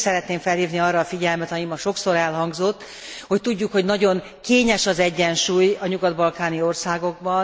Én is szeretném felhívni arra a figyelmet, ami ma sokszor elhangzott, hogy tudjuk, hogy nagyon kényes az egyensúly a nyugat balkáni országokban.